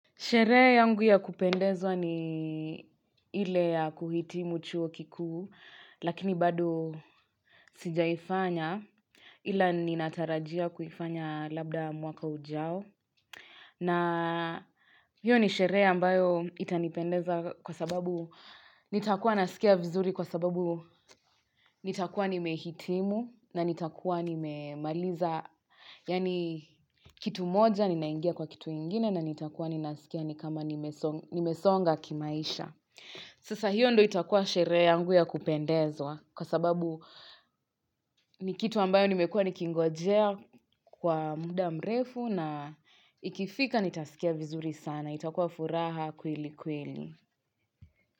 Sherehe yangu ya kupendezwa ni ile ya kuhitimu chuo kikuu, lakini bado sijaifanya ila ni natarajia kuifanya labda mwaka ujao. Na hiyo ni sherehe ambayo itanipendeza kwa sababu nitakuwa naskia vizuri kwa sababu nitakuwa nimehitimu na nitakuwa nimemaliza. Yaani kitu moja ninaingia kwa kitu ingine na nitakuwa ninasikia ni kama nimesonga kimaisha. Sasa hiyo ndo itakuwa sherehe yangu ya kupendezwa kwa sababu ni kitu ambayo nimekuwa nikingojea kwa mda mrefu. Na ikifika nitaskia vizuri sana itakuwa furaha kweli kweli.